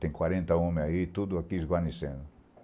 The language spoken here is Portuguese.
Tem quarenta homens aí, tudo aqui de guarnição.